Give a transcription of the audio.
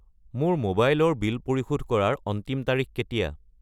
মোৰ মোবাইল ৰ বিল পৰিশোধ কৰাৰ অন্তিম তাৰিখ কেতিয়া?